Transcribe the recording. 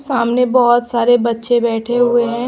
सामने बहोत सारे बच्चे बैठे हुए हैं।